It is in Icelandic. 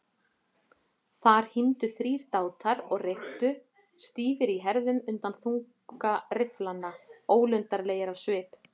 Þar hímdu þrír dátar og reyktu, stífir í herðum undan þunga rifflanna, ólundarlegir á svip.